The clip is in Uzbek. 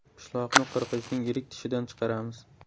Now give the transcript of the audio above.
Pishloqni qirg‘ichning yirik tishidan chiqaramiz.